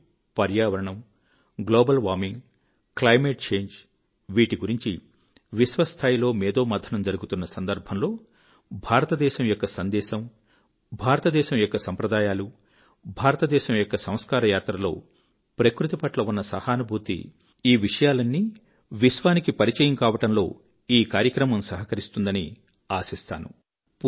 నేడు పర్యావరణం global warming climate change వీటిగురించి విశ్వ స్థాయిలో మేథోమథనం జరుగుతున్న సందర్భంలో భారతదేశం యొక్క సందేశము భారతదేశం యొక్క సంప్రదాయాలు భారతదేశం యొక్క సంస్కార యాత్రలో ప్రకృతిపట్ల ఉన్న సహానుభూతి ఈ విషయాలన్నీ విశ్వానికి పరిచయం కావడంలోఈ కార్యక్రమంసహకరిస్తుందని ఆశిస్తాను